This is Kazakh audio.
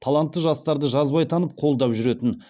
талантты жастарды жазбай танып қолдап жүретін